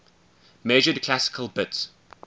measured classical bits